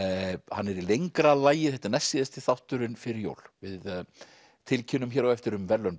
hann er í lengra lagi þetta er næstsíðasti þátturinn fyrir jól við tilkynnum hér á eftir um verðlaun